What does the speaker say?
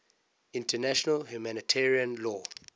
international humanitarian law